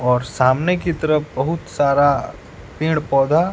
और सामने की तरफ बहुत सारा पेड़ पौधा--